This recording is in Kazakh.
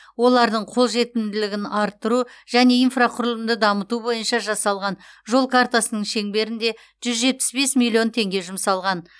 олардың қолжетімділігін арттыру және инфрақұрылымды дамыту бойынша жасалған жол картасының шеңберінде жүз жетпіс бес миллион теңге жұмсалған